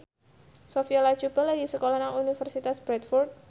Sophia Latjuba lagi sekolah nang Universitas Bradford